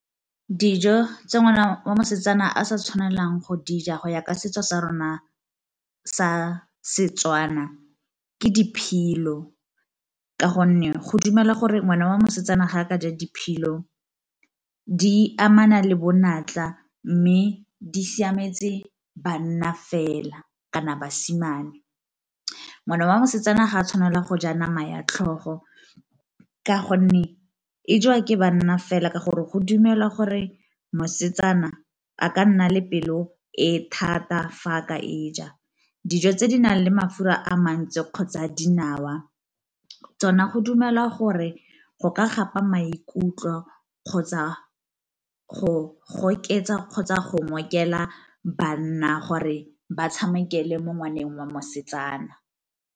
Dijo tse ngwana wa mosetsana a sa tshwanelang go dija go ya ka setso sa rona sa Setswana ke diphilo, ka gonne go dumela gore ngwana wa mosetsana ga a ka ja diphilo di amana le bonatla mme di siametse banna fela kana basimane. Ngwana wa mosetsana ga a tshwanela go ja nama ya tlhogo, ka gonne e jwa ke banna fela ka gore go dumelwa gore mosetsana a ka nna le pelo e thata fa a ka e ja. Dijo tse di nang le mafura a mantsi kgotsa dinawa tsona go dumelwa gore go ka gapa maikutlo kgotsa go oketsa kgotsa go ngokela banna gore ba tshamekele mo ngwaneng wa mosetsana.